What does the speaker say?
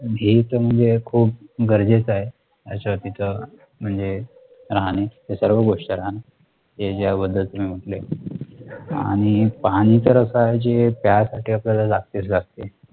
हे तर म्हणजे खूप गरजेचं आहे याच्या वरती तर म्हणजे राहणाची सर्व गोष्ट लहान जी ज्या बद्दल तुम्ही म्हंटले आणि पाणी तर असं आहे कि जे आपल्या प्यासाठी लागतेच लागते